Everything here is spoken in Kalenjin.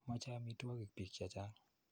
Mache amitwogik piik che chang'.